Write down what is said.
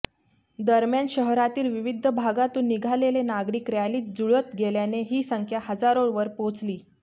दरम्यान शहरातील विविध भागातून निघालेले नागरिकत रॅलीत जुळत गेल्याने ही संख्या हजारोवर पोहोचली